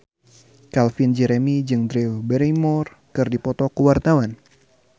Calvin Jeremy jeung Drew Barrymore keur dipoto ku wartawan